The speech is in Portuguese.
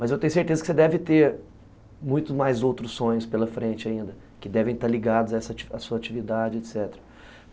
Mas eu tenho certeza que você deve ter muito mais outros sonhos pela frente ainda, que devem estar ligados a sua atividade, etc.